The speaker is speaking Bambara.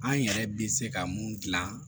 An yɛrɛ bɛ se ka mun dilan